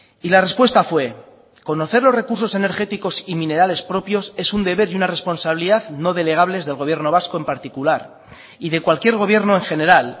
y la respuesta fue conocer los recursos energéticos y minerales propios es un deber y una responsabilidad no delegables del gobierno vasco en particular y de cualquier gobierno en general